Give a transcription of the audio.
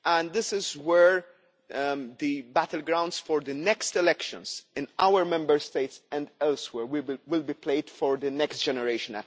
This is where the battlegrounds for the next elections in our Member States and elsewhere will be played for at least the next generation.